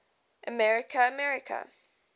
america america